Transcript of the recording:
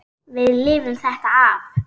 Við lifum þetta af.